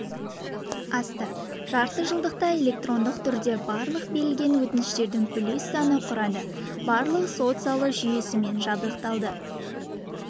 асты жартыжылдықта электрондық түрде барлық берілген өтініштердің үлес саны құрады барлық сот залы жүйесімен жабдықталды